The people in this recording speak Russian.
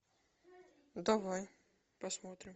давай посмотрим